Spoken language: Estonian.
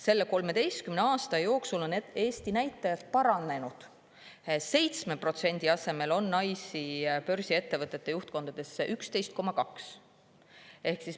Selle 13 aasta jooksul on Eesti näitajad paranenud: 7% asemel on naisi börsiettevõtete juhtkondades 11,2%.